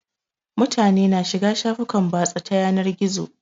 Mutane na shiga shafukan batsa ta yanar gizo